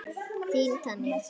Þín Tanja.